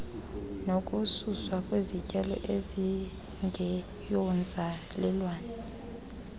nokususwa kwezityalo ezingeyonzalelwane